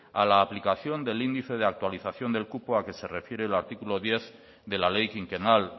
a la aplicación del índice de actualización del cupo que se refiere el artículo diez de la ley quinquenal